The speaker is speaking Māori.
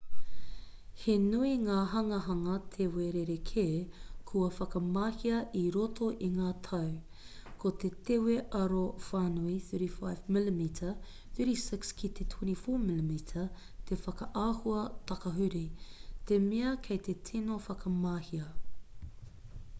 he nui ngā hanganga tewe rerekē kua whakamahia i roto i ngā tau. ko te tewe aro whānui 35 mm 36 ki te 24 mm te whakaahua takahuri te mea kei te tino whakamahia